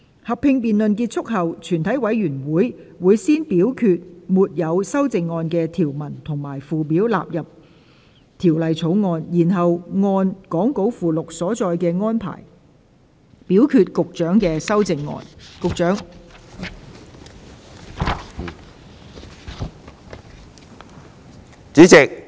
合併辯論結束後，全體委員會會先表決沒有修正案的條文及附表納入《條例草案》，然後按講稿附錄所載的安排，表決局長的修正案。